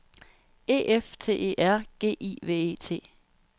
E F T E R G I V E T